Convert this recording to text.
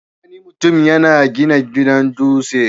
Wani mutum ya gina gidan dutse.